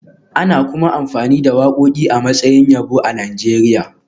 Ana kuma amfani da wakoki a matsayin yabo a Najeriya